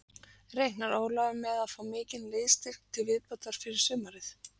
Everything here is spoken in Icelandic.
Reiknar Ólafur með að fá mikinn liðsstyrk til viðbótar fyrir sumarið?